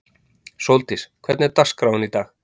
Sóldís, hvernig er dagskráin í dag?